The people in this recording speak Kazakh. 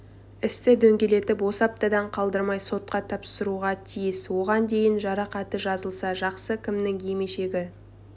істі дөңгелетіп осы аптадан қалдырмай сотқа тапсыруға тиіс оған дейін жарақаты жазылса жақсы кімнің емешегі